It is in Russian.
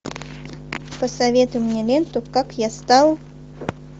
посоветуй мне ленту как я стал